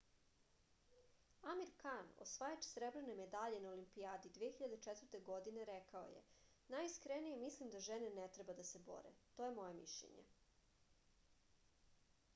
amir kan osvajač srebrne medalje na olimpijadi 2004. godine rekao je najiskrenije mislim da žene ne treba da se bore to je moje mišljenje